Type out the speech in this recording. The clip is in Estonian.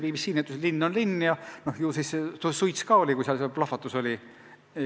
BBC ütles, et linn on linn ja ju siis suits ka oli, kui seal plahvatus oli.